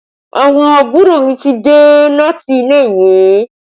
Àwọn àbúrò mi ti dé láti ilé ìwé